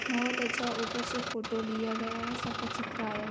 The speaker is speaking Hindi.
बहुत अच्छा ऊपर से फोटो लिया गया है सबका चित्र आया हुआ--